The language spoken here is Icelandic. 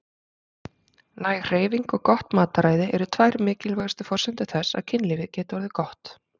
Næg hreyfing og gott mataræði eru tvær mikilvægustu forsendur þess að kynlífið geti orðið gott.